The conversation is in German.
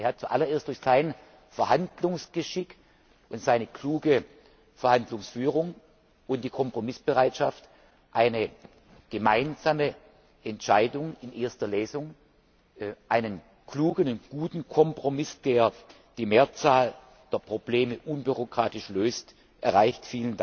Er hat zuallererst durch sein Verhandlungsgeschick und seine kluge Verhandlungsführung und die Kompromissbereitschaft eine gemeinsame Entscheidung in erster Lesung, einen klugen und guten Kompromiss, der die Mehrzahl der Probleme unbürokratisch löst, erreicht.